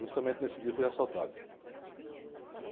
Justamente nesse dia fui assaltado.